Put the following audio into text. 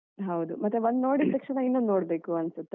ಹೌದು ಮತ್ತೆ ಒಂದು ನೋಡಿದ ತಕ್ಷಣ ಇನ್ನೊಂದು ನೋಡ್ಬೇಕು ಅನ್ಸುತ್ತೆ ಅಲ್ವ.